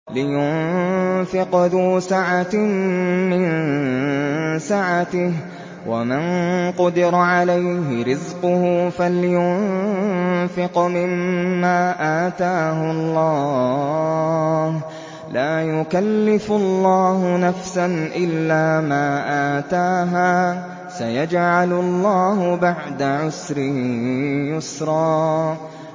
لِيُنفِقْ ذُو سَعَةٍ مِّن سَعَتِهِ ۖ وَمَن قُدِرَ عَلَيْهِ رِزْقُهُ فَلْيُنفِقْ مِمَّا آتَاهُ اللَّهُ ۚ لَا يُكَلِّفُ اللَّهُ نَفْسًا إِلَّا مَا آتَاهَا ۚ سَيَجْعَلُ اللَّهُ بَعْدَ عُسْرٍ يُسْرًا